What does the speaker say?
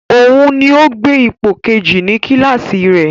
Òun ni ó gbé ipò kejì ní kíláàsì rẹ